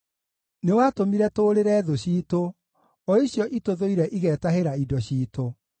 Nĩwatũmire tũũrĩre thũ ciitũ, o icio itũthũire igetahĩra indo ciitũ.